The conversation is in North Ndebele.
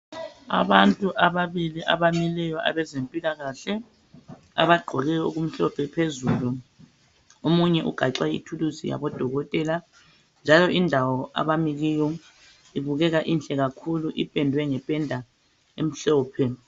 Abantu ababili abamileyo abezempilakahle abagqoke okumhlophe phezulu. Omunye ugaxe ithuluzi yabodokotela njalo indawo abami kiyo ibukeka inhle kakhulu ipendwe ngependa emhlophe.